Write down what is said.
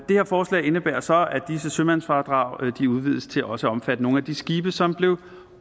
her forslag indebærer så at disse sømandsfradrag udvides til også at omfatte nogle af de skibe som blev